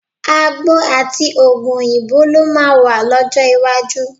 Àgbo àti òògùn òyìnbó ló máa wà lọ́jọ́ iwájú.